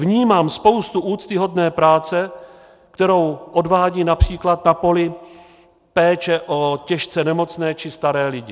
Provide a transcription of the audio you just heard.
Vnímám spoustu úctyhodné práce, kterou odvádí například na poli péče o těžce nemocné či staré lidi.